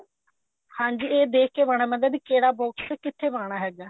ਹਾਂਜੀ ਇਹ ਦੇਖ ਕੇ ਪਾਣਾ ਪੈਂਦਾ ਵੀ ਕਿਹੜਾ box ਕਿੱਥੇ ਪਾਣਾ ਹੈਗਾ